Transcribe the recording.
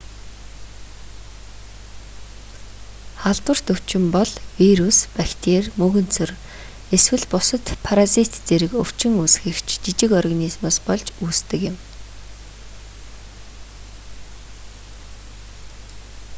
халдварт өвчин бол вирус бактери мөөгөнцөр эсвэл бусад паразит зэрэг өвчин үүсгэгч жижиг организмоос болж үүсдэг юм